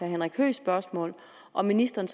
henrik høeghs spørgsmål om ministeren